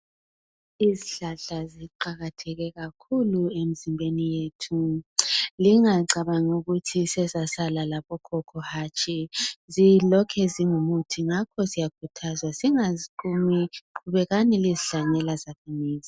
Izihlahla ziqakatheke kakhulu emzimbeni yethu lingacabangi ukuthi sezasala labokhokho hatshi zilokhe zingumuthi ngakho siyakhuthazwa singaziqumi qhubekani lizihlanyela zakhamizi.